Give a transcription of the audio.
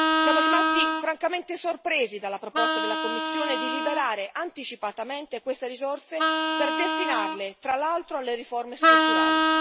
Siamo rimasti francamente sorpresi dalla proposta della Commissione di liberare anticipatamente queste risorse per destinarle, tra l'altro, alle riforme strutturali.